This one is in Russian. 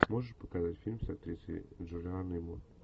можешь показать фильм с актрисой джулианой мур